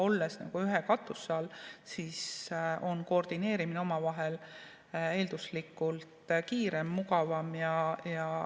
Olles ühe katuse all, on koordineerimine omavahel eelduslikult kiirem, mugavam.